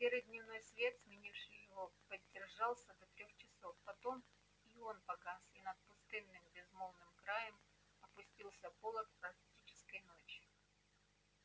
серый дневной свет сменивший его продержался до трёх часов потом и он погас и над пустынным безмолвным краем опустился полог арктической ночи